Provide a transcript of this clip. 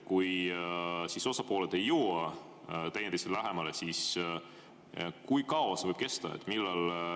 Kui osapooled ei jõua teineteisele lähemale, siis kui kaua see võib kesta.